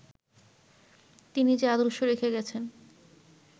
তিনি যে আদর্শ রেখে গেছেন